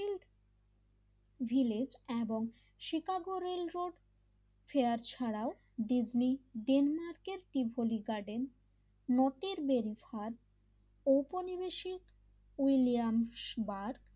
village এবং Chicago railroad fair ছাড়াও Disney ডেনমার্কের তীভলি গার্ডেন মতের ঘাট ঔপনিবেশিক উইলিয়ামসবার,